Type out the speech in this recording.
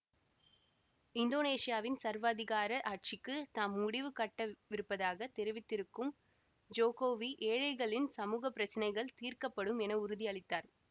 இந்தோனேசியாவின் சர்வாதிகார ஆட்சிக்குத் தாம் முடிவு கட்டவிருப்பதாகத் தெரிவித்திருக்கும் ஜோகோவி ஏழைகளின் சமூக பிரச்சினைகள் தீர்க்கப்படும் என உறுதி அளித்தார்